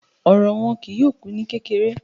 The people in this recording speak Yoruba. Ọ̀rọ̀ wọn kìí yọọ̀ kú ní kèkèrè